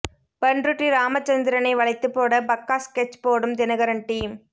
பண்ருட்டி ராமச்சந்ந்திரனை வளைத்துப் போட பக்கா ஸ்கெட்ச் போடும் தினகரன் டீம்